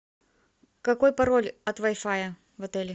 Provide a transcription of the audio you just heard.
какой пароль от вай фая в отеле